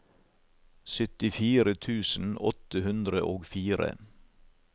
syttifire tusen åtte hundre og fire